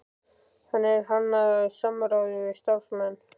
Hann er hannaður í samráði við starfsmenn